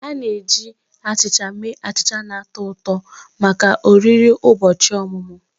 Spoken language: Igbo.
A na-eji achịcha mee achịcha na-atọ ụtọ maka oriri ụbọchị ọmụmụ